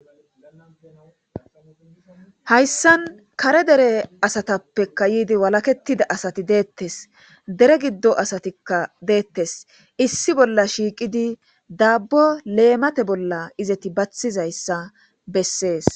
Hayssan kare dere asatappeka yiidi walaketida asati deettes dere giddo asatikka deettes issi bolla shiiqidi daabbo leemate bolla izeti bathizayssa bessees.